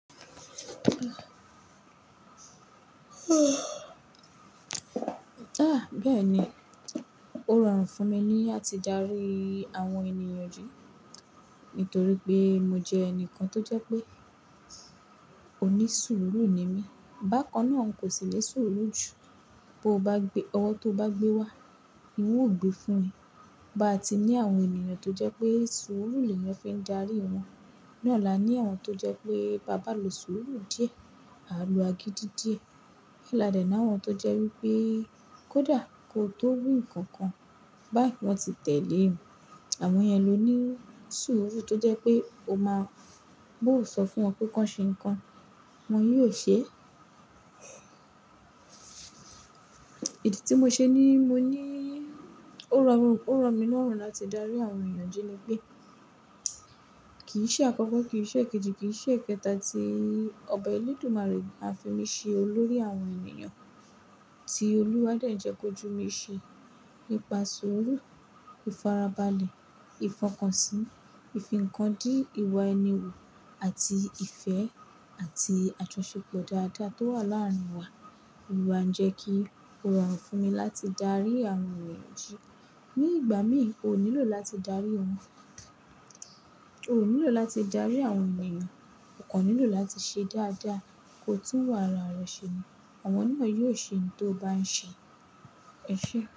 Ah bẹ́ẹ̀ni. O rọrùn fún mi ní láti darí àwọn ènìyàn ju, nítorí pé mo jẹ́ ẹnìkan tó jẹ́ pé òní sùúrù ni mí. Bákan náà n kò sì le sùúrù jù. Bo bá gbé, ọwọ́ tó bá gbé wá, ni hun ò gbé fún ẹ. Bá ti ní àwọn ènìyàn tó jẹ́ pé sùúrù ni leyan fi ń darí wọn. Naa la ní àwọn tó jẹ́ pé "bàbá lo sùúrù díẹ̀", "àro agídí díẹ̀". Làdẹ́ náà àwọn tó jẹ́ wípé "kódà kó tó wí nǹkan kan, báyìí wọ́n ti tẹ̀lé ẹ". Àwọn yẹn ló ní sùúrù tó jẹ́ pé o máa bó sọ fún wọn pé "kọ́ń ṣe nǹkan", wọ́n yóò ṣe é. Ìdí tí mo ṣe ní mo ní ó rọ, ó rọ mí lọ́rùn láti darí àwọn ènìyàn jí ni pé kì í ṣe àkọ́kọ́, kì í ṣe èkejì, kì í ṣe èkẹta tí Ọba Elédùmarè á fi mí ṣe olórí àwọn ènìyàn. Tí Olúwa dẹ̀ ń jẹ́ kó jù mí ṣe nípa sùúrù, ìfarabalẹ̀, ìfọkànsìn, ìfínkandí, ìwà ẹni wò àti ìfẹ́ àti àtúnṣe pẹ̀lú dada tó wà láàárín wa. O n wà ń jẹ́ kí ó rọrùn fún mi láti darí àwọn ènìyàn jí. Ni ìgbà míì, o nílò láti darí wọn. O nílò láti darí àwọn ènìyàn. O kàn nílò láti ṣe dáadáa, ko tun iwà ara rẹ̀ ṣe ni. Àwọn náà yóò ṣe ohun tó o bá ń ṣe. Ẹ ṣé.